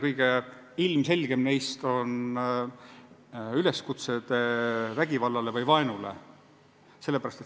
Kõige ilmselgemad on üleskutsed vägivallale või vaenule.